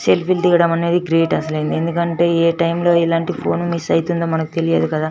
Self లు దిగడం అనేది గ్రేట్ అసలు ఎందుకంటే ఎ టైం లో ఎలాంటి ఫోన్ మిస్ అయితుందో మనకు తెలియదు కదా.